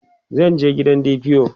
zan je gidan DPO